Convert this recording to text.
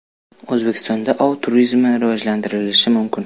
O‘zbekistonda ov turizmi rivojlantirilishi mumkin.